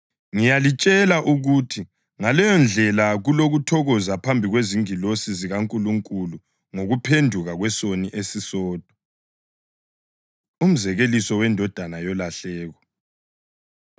Ngiyalitshela ukuthi ngaleyondlela kulokuthokoza phambi kwezingilosi zikaNkulunkulu ngokuphenduka kwesoni esisodwa.” Umzekeliso Wendodana Yolahleko